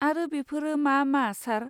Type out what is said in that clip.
आरो बेफोरो मा मा, सार?